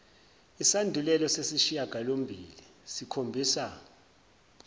isandulelo sesishiyangalombili sikhombisa